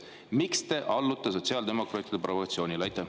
Miks te allute sotsiaaldemokraatide provokatsioonile?